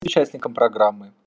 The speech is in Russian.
участникам программы